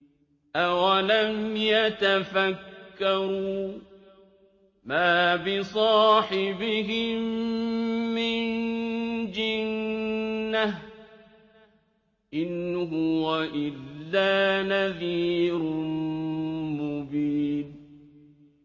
أَوَلَمْ يَتَفَكَّرُوا ۗ مَا بِصَاحِبِهِم مِّن جِنَّةٍ ۚ إِنْ هُوَ إِلَّا نَذِيرٌ مُّبِينٌ